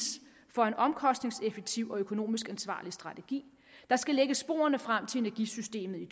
for en omkostningseffektiv og økonomisk ansvarlig strategi der skal lægge sporene frem til energisystemet i